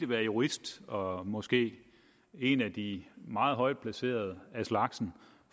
være jurist og måske en af de meget højtplacerede af slagsen